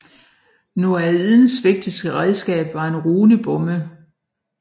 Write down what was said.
Noaidens vigtigste redskab var en runebomme